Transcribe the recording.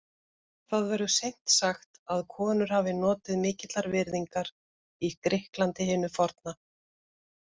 Það verður seint sagt að konur hafi notið mikillar virðingar í Grikklandi hinu forna.